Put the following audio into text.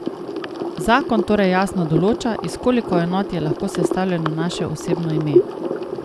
Zakon torej jasno določa, iz koliko enot je lahko sestavljeno naše osebno ime.